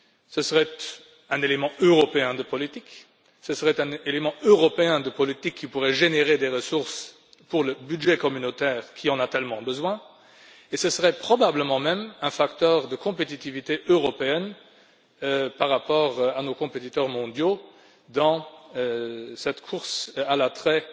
Ce serait un élément européen de politique qui pourrait générer des ressources pour le budget communautaire, qui en a tellement besoin, et ce serait probablement même un facteur de compétitivité européenne par rapport à nos compétiteurs mondiaux, dans cette course à l'attrait